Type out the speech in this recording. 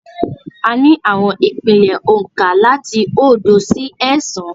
A ní àwọn ìpìlẹ̀ oǹkà láti oódo sí ẹẹ́sàn-án.